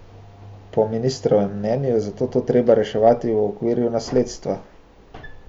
Po ministrovem mnenju je zato to treba reševati v okviru nasledstva.